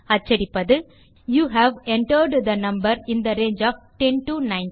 அச்சடிப்பது you have entered the number in the range of 10 to 19